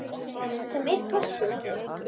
Sem er kostur!